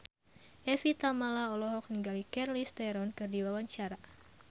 Evie Tamala olohok ningali Charlize Theron keur diwawancara